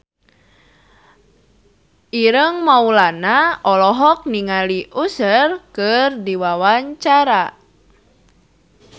Ireng Maulana olohok ningali Usher keur diwawancara